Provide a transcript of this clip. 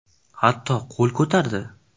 Hatto qo‘l ko‘tardi.